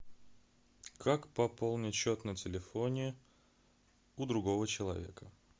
как пополнить счет на телефоне у другого человека